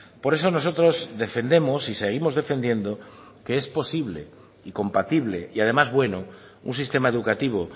por eso nosotros defendemos y seguimos defendiendo que es posible y compatible y además bueno un sistema educativo